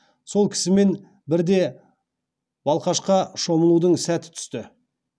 сол кісімен бірде балқашқа шомылудың сәті түсті